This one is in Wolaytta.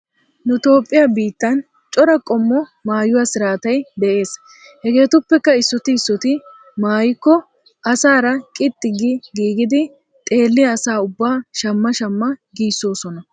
Nu Toophphiya biittan cora qommo maayuwa siraatay de'es. Hegeetuppekka issooti issooti maayikko asaara qixxi gi giigidi xeelliya asa ubbaa shamma shamma giissoosona.